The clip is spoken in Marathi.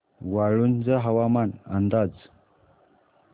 वाळूंज हवामान अंदाज